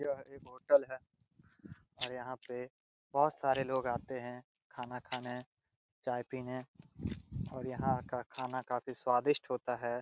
यह एक होटल हैं और यहां पे बहुत सारे लोग आते हैं खाना खाने चाय पीने और यहां का खाना काफी स्वादिष्ट होता है।